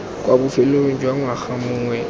kwa bofelong jwa ngwaga mongwe